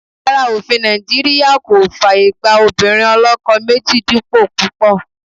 Rárá, òfin Nàìjíríà kò fàyè gba obìnrin oloko méjì dípò púpò.